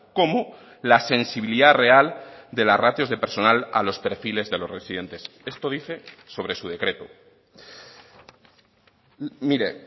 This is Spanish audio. como la sensibilidad real de las ratios de personal a los perfiles de los residentes esto dice sobre su decreto mire